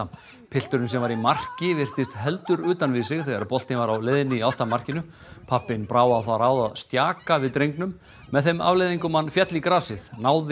pilturinn sem var í marki virtist heldur utan við sig þegar boltinn var á leiðinni í átt að markinu pabbinn brá á það ráð að stjaka við drengnum með þeim afleiðingum að hann féll í grasið náði